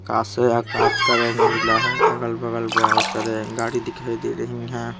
से आकाश का रंग उजला है अगल बगल बहुत सारे गाड़ी दिखाई दे रही हैं।